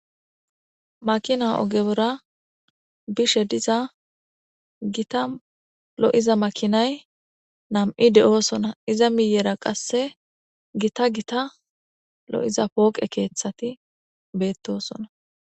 Makina ogebora bishe diza gita lo'iza makinay nam'i de'oosona iza miyera qasse gita gita lo'iza pooqe keeththati beettosona.